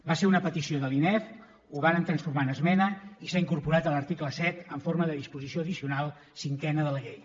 va ser una petició de l’inefc ho vàrem transformar en esmena i s’ha incorporat a l’article set en forma de disposició addicional cinquena de la llei